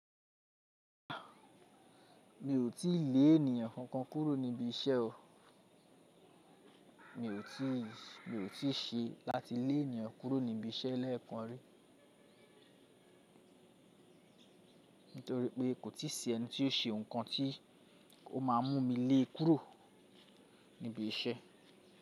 Mi ò tíì lé ènìyàn kankan kúrò níbi iṣẹ́ o. Mi ò tíì, mi ò tíì ṣe láti lé ènìyàn kúrò níbi iṣẹ́ lẹ́ẹ̀kan rí. Nítorí pé kò tí ì sí ẹni tí ó ṣe nǹkan tí ó máa mú mi lée kúrò níbi iṣẹ́.